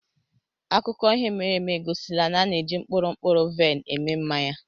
akụkọ ihe mere eme egosila na a na-eji mkpụrụ mkpụrụ vaịn eme mmanya.